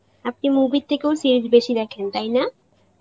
আমি movie এর থেকেও series বেশি দেখেন, তাই না?